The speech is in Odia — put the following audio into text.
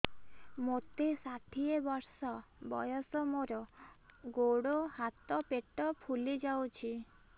ମୋତେ ଷାଠିଏ ବର୍ଷ ବୟସ ମୋର ଗୋଡୋ ହାତ ପେଟ ଫୁଲି ଯାଉଛି